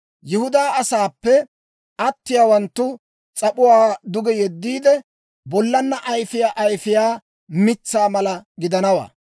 Yihudaa asaappe atiyaawanttu s'ap'uwaa duge yeddiide, bollan ayfiyaa ayifiyaa mitsaa mala gidanawaa.